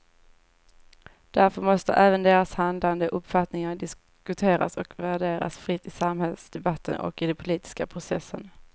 Därför måste även deras handlande och uppfattningar diskuteras och värderas fritt i samhällsdebatten och i den politiska processen.